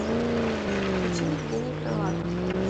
включи евгений крылатов